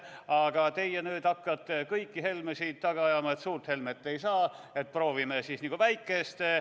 Aga teie hakkate nüüd kõiki Helmesid taga ajama, et suurt Helmet ei saa, proovime siis nagu väikest.